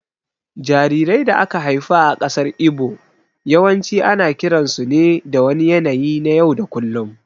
Jarirai da aka haifa a ƙasar Igbo yawanci ana kiransu ne da wani yanayi na yau da kullum